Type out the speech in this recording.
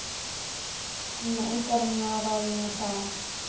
Það verði einhver ráð með það.